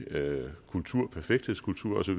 kultur perfekthedskultur